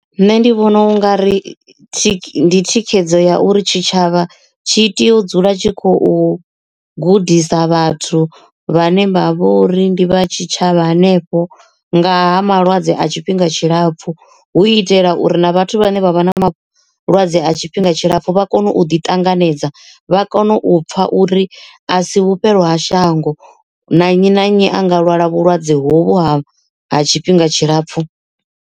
Nṋe ndi vhona u nga ri ndi thikhedzo ya uri tshitshavha tshi tea u dzula tshi khou gudisa vhathu vhane vha vhori ndi vha tshitshavha hanefho nga ha malwadze a tshifhinga tshilapfu hu itela uri na vhathu vhane vha vha na mafhungo malwadze a tshifhinga tshilapfu vha kone u ḓi ṱanganedza vha kone u pfha uri a si vhufhelo ha shango na nnyi na nnyi a nga lwala vhulwadze hovhu ha ha tshifhinga tshilapfhu.